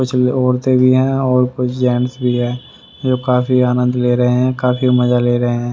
कुछ औरतें भी हैं और कुछ जेंट्स भी है जो काफी आनंद ले रहे हैं काफी मजा ले रहे हैं।